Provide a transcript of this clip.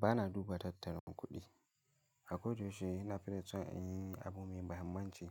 Ba na duba tattalin kuɗi. A koda yaushe ina fito in yi abu mai muhimmanci.